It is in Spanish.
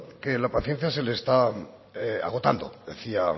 que la paciencia se le está agotando decía